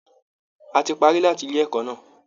A ti parí láti ilé ẹ̀kọ́ náà